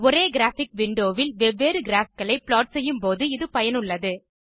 ஒரே graphic window வில் வெவ்வேறு கிராப் களை ப்ளாட் செய்யும் போது இது பயனுள்ளது